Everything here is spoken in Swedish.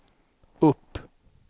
upp